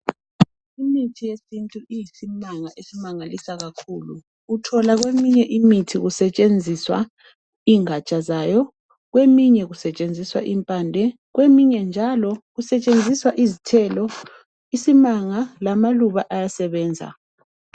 Imithi yesintu iyisimanga esimangalisa kakhulu, uthola kweminye imithi kusetshenziswa ingatsha zayo, kweminye njalo kusetshenziswa impande kweminye kusetshenziswa izithelo. Isimanga lamaluba ayasebenza.